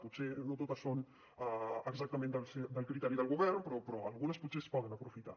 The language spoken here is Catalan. potser no totes són exactament del criteri del govern però algunes potser es poden aprofitar